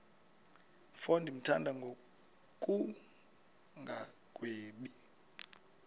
mfo ndimthanda ngokungagwebi